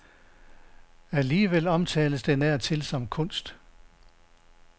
Alligevel omtales den af alle som kunst.